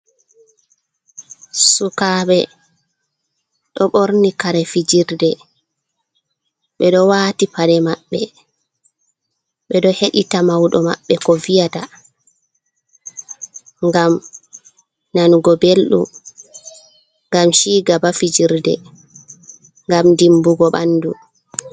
Sukabe do borni kare fijirde, bedo wati pade mabbe, bedo hedita maudo mabbe ko viyata, gam nanugo beldum gam chigaba fijirde, gam dimbugo bandu.